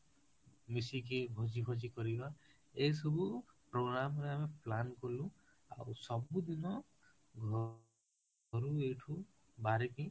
ମିଶିକି ଭୋଜି କରିବା ଏଇ ସବୁ program ରେ ଆମେ plan କଲୁ ଆଉ ସବୁ ଦୀନ ଘରୁ ଏଇଠୁ ବାହରିକି